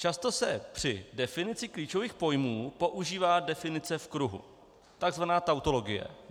Často se při definici klíčových pojmů používá definice v kruhu, tzv. tautologie.